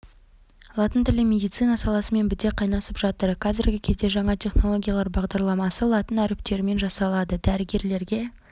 латын тілі медицина саласымен біте қайнасып жатыр қазіргі кезде жаңа технологиялар бағдарламасы латын әріптерімен жасалады дәрігерлерге